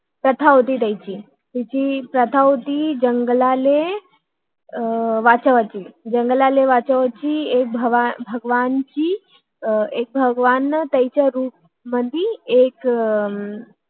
प्रथा होती त्यांची त्यांचिं प्राथा होती कि जंगलालाल आह वाचवण्याची तिथल्या देवांनी आह तिथल्या त्यांच्या रुपात